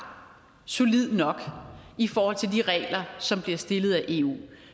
solid nok i forhold til de regler som af eu